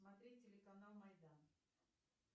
смотреть телеканал майдан